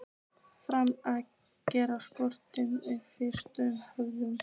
Feginn að geta strokið um frjálst höfuð.